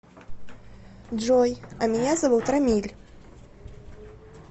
джой а меня зовут рамиль